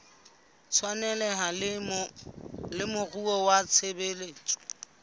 tshwaneleha le moruo wa tshebetso